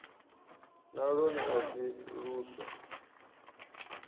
na lwone a si luswa